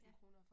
Ja